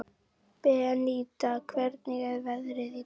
Beníta, hvernig er veðrið í dag?